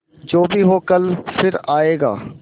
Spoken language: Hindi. जो भी हो कल फिर आएगा